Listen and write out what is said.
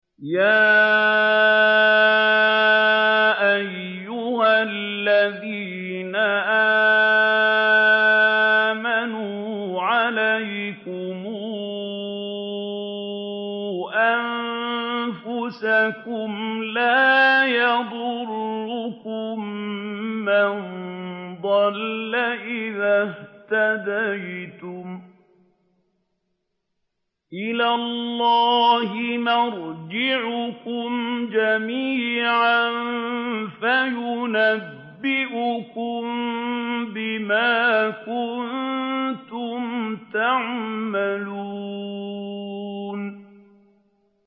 يَا أَيُّهَا الَّذِينَ آمَنُوا عَلَيْكُمْ أَنفُسَكُمْ ۖ لَا يَضُرُّكُم مَّن ضَلَّ إِذَا اهْتَدَيْتُمْ ۚ إِلَى اللَّهِ مَرْجِعُكُمْ جَمِيعًا فَيُنَبِّئُكُم بِمَا كُنتُمْ تَعْمَلُونَ